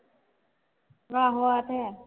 ਆਹੋ ਆ ਤੇ ਹੈ।